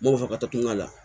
N b'o fɔ ka to kuma la